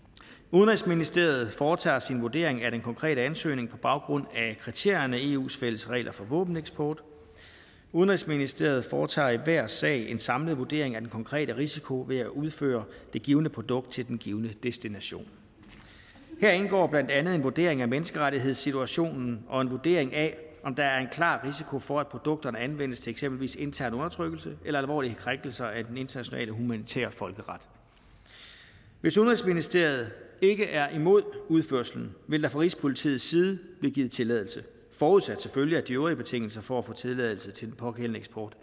udenrigsministeriet foretager sin vurdering af den konkrete ansøgning på baggrund af kriterierne i eus fælles regler for våbeneksport udenrigsministeriet foretager i enhver sag en samlet vurdering af den konkrete risiko ved at udføre det givne produkt til den givne destination her indgår blandt andet en vurdering af menneskerettighedssituationen og en vurdering af om der er en klar risiko for at produkterne anvendes til eksempelvis intern undertrykkelse eller alvorlige krænkelser af den internationale humanitære folkeret hvis udenrigsministeriet ikke er imod udførslen vil der fra rigspolitiets side blive givet tilladelse forudsat selvfølgelig at de øvrige betingelser for at få tilladelse til den pågældende eksport